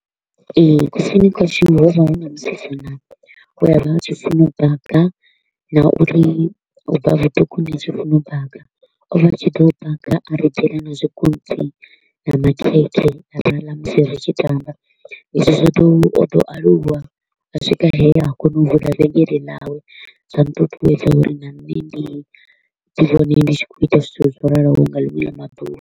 Ee, kusini kwashu ho vha hu na musidzana we a vha a tshi funa u baga na uri u bva vhuṱukuni a tshi funa u baga. O vha a tshi to u baga a ri ḓela na zwikontsi na makhekhe ra ḽa musi ri tshi tamba. Izwi zwo ḓo o ḓo aluwa a swika he a kona u vula vhengele ḽawe, zwa nṱuṱuwedza uri na nṋe ndi ḓi wane ndi tshi khou ita zwithu zwo raloho nga ḽiṅwe ḽa maḓuvha.